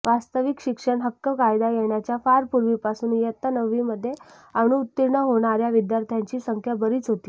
वास्तविक शिक्षण हक्क कायदा येण्याच्या फार पूर्वीपासून इयत्ता नववीमध्ये अनुत्तीर्ण होणार्या विद्यार्थ्यांची संख्या बरीच होती